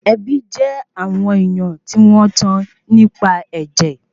Ẹbí jé àwọn ènìyàn tí wọ́n tán nípa ẹ̀jẹ̀